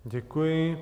Děkuji.